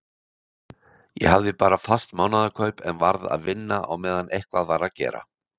Ég hafði bara fast mánaðarkaup en varð að vinna á meðan eitthvað var að gera.